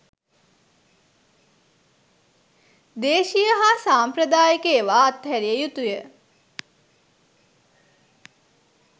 දේශීය හා සාම්ප්‍රදායික ඒවා අතහැරිය යුතු ය.